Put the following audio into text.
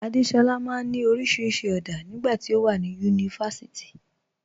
Adéṣọla maa n ni oríṣiríṣi ọ̀dá nígbà tí o wà ní yunífásíìtì.